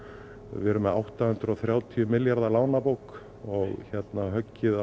við erum með átta hundruð og þrjátíu milljarða lánabók og höggið